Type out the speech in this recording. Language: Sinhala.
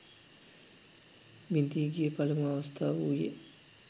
බිඳී ගිය පළමු අවස්ථාව වූයේ